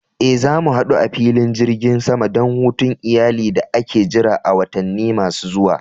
Eh, za mu hadu a filin jirgin sama don hutun iyali da ake jira a watanni masu zuwa.